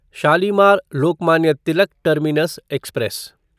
Shalimar Lokmanya Tilak terminus express